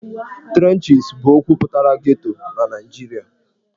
Trenches' bụ okwu pụtara 'Ghetto' na Naịjirịa.